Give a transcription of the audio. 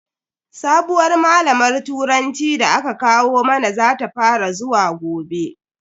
Sabuwar malamar turanci da aka kawo mana zata fara zuwa gobe.